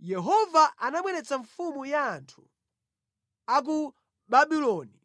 Yehova anabweretsa mfumu ya anthu a ku Babuloni,